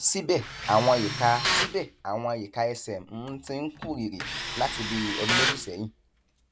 síbẹ àwọn ìka síbẹ àwọn ìka ẹsẹ m ti ń kú rìrì láti bí ọdún méjì sẹyìn